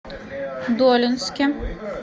долинске